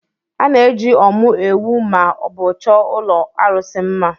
A na-eji ọ́mụ́ ewù ma ọ bụ chọọ ụlọ arụsị mma.